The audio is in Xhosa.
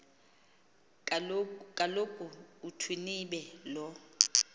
kaloku uthwinibe lo